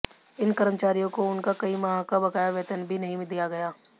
इन कर्मचारियों को उनका कई माह का बकाया वेतन भी नहीं दिया गया